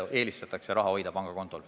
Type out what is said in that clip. Eelistatakse raha hoida pangakontol.